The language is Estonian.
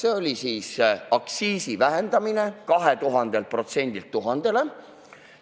Esiteks, vähendada aktsiisi 2000%-lt 1000%-le.